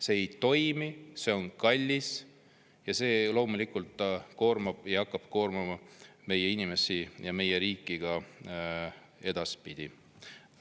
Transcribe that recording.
See ei toimi, see on kallis ja see loomulikult hakkab koormama meie inimesi ja meie riiki ka edaspidi.